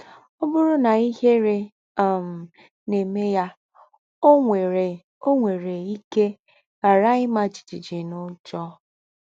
Ọ bụrụ na ihere um na-eme ya, ọ nwere, ọ nwere ike ghara ịma jijiji na ụjọ.